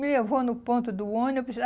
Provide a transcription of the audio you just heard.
Me levou no ponto do ônibus.